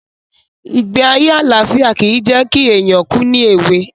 Ìgbé ayé àlàfíà ki jẹ̀ ki éyàn kù ni èwe